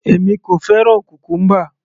Èmi kò fẹ́ràn cucumber